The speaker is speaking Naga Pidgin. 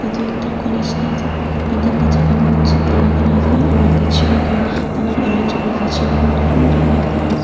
etu ekta college asae yadae bacha kan coat suit lakaikina asae aro yadae chair kan tai kan arrange kuri asae chair kan pura white colour .